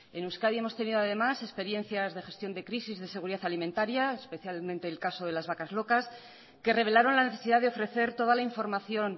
en euskadi hemos tenido además experiencias de gestión de crisis de seguridad alimentaria especialmente el caso de las vacas locas que revelaron la necesidad de ofrecer toda la información